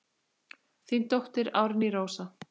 Þín dóttir Árný Rósa.